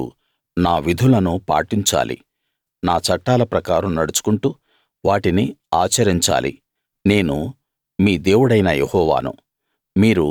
మీరు నా విధులను పాటించాలి నా చట్టాల ప్రకారం నడుచుకుంటూ వాటిని ఆచరించాలి నేను మీ దేవుడైన యెహోవాను